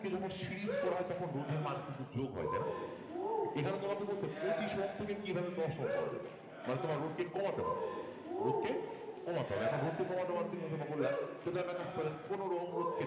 আমি বলেছিলাম রোধ কে যখন সিরিজ করা হয় তখন রোধের মান কিন্তু যোগ হয় তাই না এখানে তোমাকে বলছে পচিশ ওহম থেকে কিভাবে দশ ওহম পাওয়া যাবে মানে তোমার রোধ কে কমাতে হবে রোধকে কমাতে হবে। এখন রোধকে কমাতে যদিও একটা কাজ করেন কোনো রোধকে